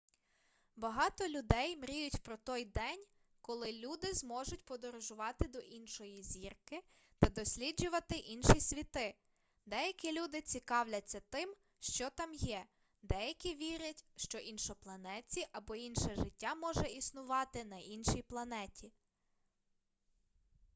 багато людей мріють про той день коли люди зможуть подорожувати до іншої зірки та досліджувати інші світи деякі люди цікавляться тим що там є деякі вірять що іншопланетці або інше життя може існувати на іншій планеті